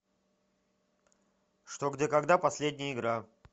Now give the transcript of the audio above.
что где когда последняя игра